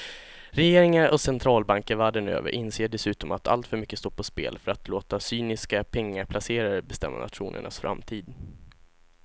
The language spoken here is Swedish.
Regeringar och centralbanker världen över inser dessutom att alltför mycket står på spel för att låta cyniska pengaplacerare bestämma nationernas framtid.